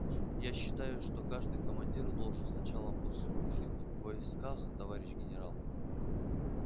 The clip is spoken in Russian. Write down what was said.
я считаю что каждый командир должен сначала послужить в войсках товарищ генерал